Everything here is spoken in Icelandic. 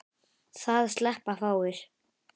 Það sleppa fáir.